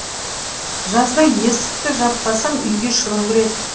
жазда есікті жаппасам үйге шыбын кіреді